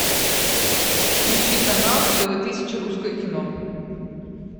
включи канал тв тысяча русское кино